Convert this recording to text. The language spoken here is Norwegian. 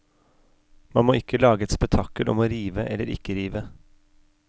Man må ikke lage et spetakkel om å rive eller ikke rive.